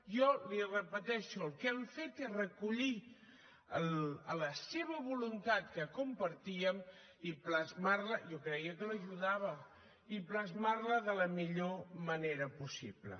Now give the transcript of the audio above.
jo li ho repeteixo el que hem fet és recollir la seva voluntat que compartíem i plasmar la jo creia que l’ajudava i plasmar la de la millor manera possible